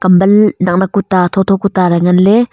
bul nak nak kuta thotho kuta ley ngan ley.